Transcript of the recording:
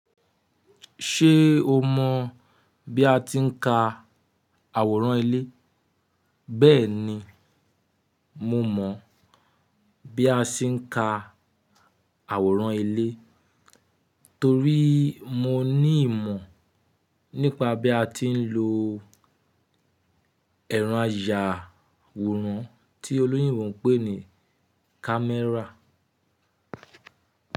Ṣé o mọ̀ bí a ti ń ka àwòrán ilé? Bẹ́ẹ̀ni, mo mọ̀ bí a ṣe ń ka àwòrán ilé torí mo ní ìmọ̀ nípa bí a ti ń lo ẹ̀rọ ayàwòrán tí olóyúnmọ̀ pè ní camera.